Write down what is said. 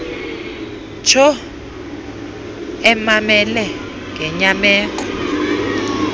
ntsho emamele ngenyameko